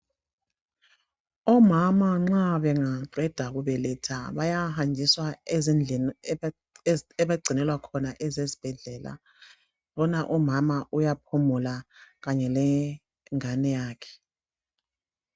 Omama nxa bengaqeda kubeletha bayahanjiswa ezindlini abagcinelwa khona ezesibhedlela. Bona umama uyaphumula kanye lengane yakhe.